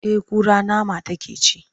Eh kura nama take ci.